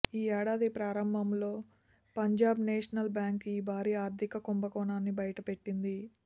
ఈ ఏడాది ప్రారంభంలో పంజాబ్నేషనల్ బ్యాంకు ఈ భారీ ఆర్థిక కుంభకోణాన్ని బయట పెట్టింది